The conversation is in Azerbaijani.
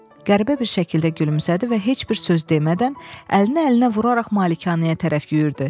Qəribə bir şəkildə gülümsədi və heç bir söz demədən əlini əlinə vuraraq malikanəyə tərəf yüyürdü.